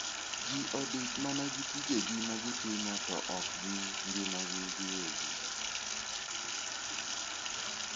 Ji odich mana gi tije ma gitimo to ok gi ngimagi giwegi.